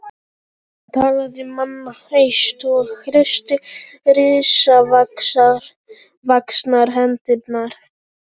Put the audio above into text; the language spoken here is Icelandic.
Hann talaði manna hæst og hristi risavaxnar hendurnar.